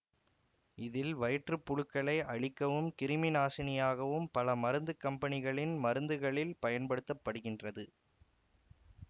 இதில் வயிற்றுப்புழுக்களை அழிக்கவும் கிருமிநாசினியாகவும் பல மருந்துக்கம்பனிகளின் மருந்துகளில் பயன்படுத்த படுகிறது